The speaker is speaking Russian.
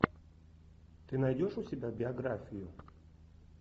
ты найдешь у себя биографию